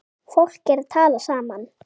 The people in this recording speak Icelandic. Fólk er að tala saman.